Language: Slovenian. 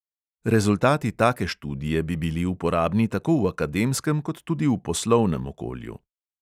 Rezultati take študije bi bili uporabni tako v akademskem kot tudi v poslovnem okolju.